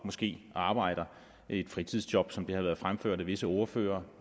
måske arbejder i et fritidsjob som det har været fremført af visse ordførere